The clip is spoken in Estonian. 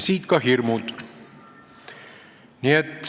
Siit ka need hirmud.